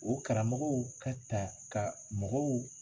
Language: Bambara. O karamɔgɔw ka ta ka mɔgɔw